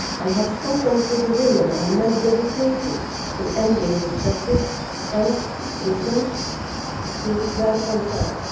I have spoken to the women and men dedicated to ending this practice and listened to their concerns.